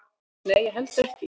"""Nei, ég held ekki."""